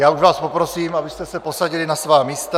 Já už vás poprosím, abyste se posadili na svá místa.